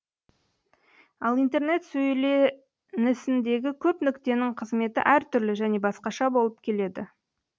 ал интернет сөйленісіндегі көп нүктенің қызметі әртүрлі және басқаша болып келеді